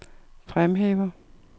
fremhæver